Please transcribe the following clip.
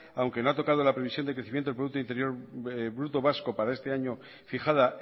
aunque le ha tocado la previsión de crecimiento del producto interior bruto vasco para este año fijada